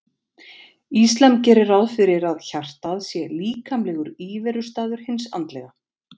Íslam gerir ráð fyrir að hjartað sé líkamlegur íverustaður hins andlega.